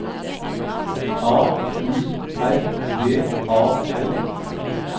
A U R D A L